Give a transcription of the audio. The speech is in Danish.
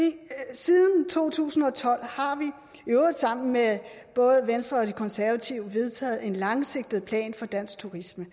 siden to tusind og tolv har vi i øvrigt sammen med både venstre og de konservative vedtaget en langsigtet plan for dansk turisme